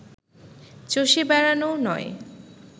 চষে বেড়ানোও নয়